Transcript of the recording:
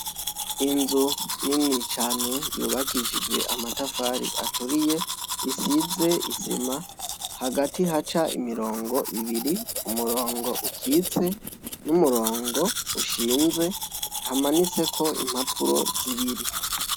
Inzu nini cane yubakishijwe amatafari aturiye, isize isima hagati haca imirongo ibiri, umurongo ukitse n'umurongo ushinze hamanitseko impapuro zibiri.